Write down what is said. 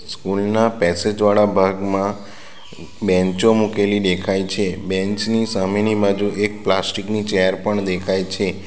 School ના passage વાળા ભાગમાં બેન્ચો મુકેલી દેખાય છે બેન્ચ ની સામેની બાજુ એક પ્લાસ્ટિક ની ચેર પણ દેખાય છે.